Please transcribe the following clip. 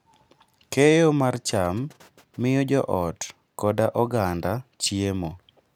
Keyo mar cham miyo joot koda oganda chiemo.